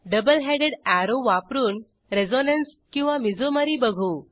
double headed arrow वापरून resonance किंवा mesomery बघू